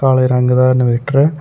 ਕਾਲੇ ਰੰਗ ਦਾ ਇਨਵਰਟਰ ਹੈ।